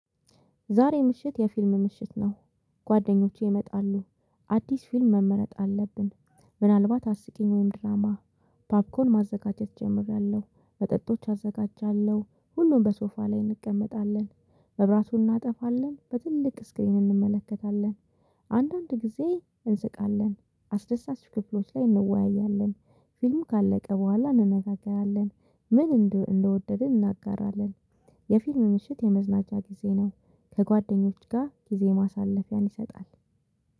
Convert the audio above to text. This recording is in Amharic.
ዛሬ ምሽት የፊልም ምሽት ነው ጓደኞቼ ይመጣሉ። አዲስ ፊልም መመረጥ አለብን ምናልባት አስቂኝ ወይም ድራማ ፓፕኮርን ማዘጋጀት እጀምራለሁ፤ መጠጦች አዘጋጃለሁ፤ ሁሉም በሶፋ ላይ እንቀመጣለን፤ መብራቱን እናጠፋለን፤ በትልቅ ስክሪን እንመለከታለን። አንዳንድ ጊዜ እንስቃለን፤ አስደሳች ክፍሎች ላይ እንወያያለን፤ ፊልም ካለቀ በኋላ እንነጋገራለን፤ ምን እንደወደድን እናጋራለን። የፊልም ምሽት የመዝናኛ ጊዜ ነው። ከጓደኞች ጋር ጊዜ ማሳለፊያን ይሰጣል።